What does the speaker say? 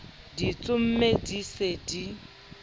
di tsomme di se di